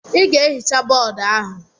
Ị ga-ehicha boodu ahụ!